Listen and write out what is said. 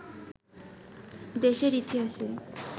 দেশের ইতিহাসের